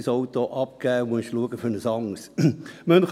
dein Auto abgeben und dir ein anderes kaufen.